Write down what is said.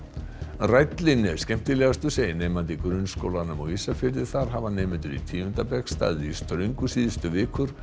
rællinn er skemmtilegastur segir nemandi í grunnskólanum á Ísafirði þar hafa nemendur í tíunda bekk staðið í ströngu síðustu vikur